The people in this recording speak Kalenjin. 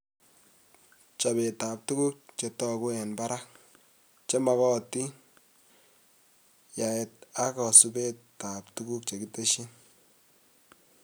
Chobetab tuguk chetoguk eng barak, chemogotin, yaet ak kasubetab tuguk chekitesyi